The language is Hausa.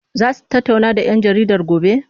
Za su tattauna da 'yan jaridar gobe?